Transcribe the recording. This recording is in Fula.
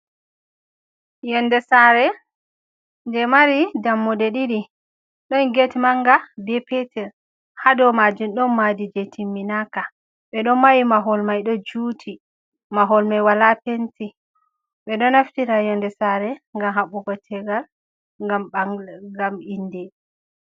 Yonde sare je mari dammuɗe ɗiɗi ɗon ged manga be petel ha dou majum ɗon maadi je timminaka. Ɓeɗo mahi mahol mai ɗo juti, mahol mai wala penti. Ɓeɗo naftira yonde sare ngam haɓɓugo tegal, ngam inde.